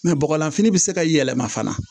bɔgɔlanfini bɛ se ka yɛlɛma fana